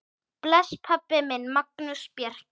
Bless, pabbi minn, Magnús Bjarki.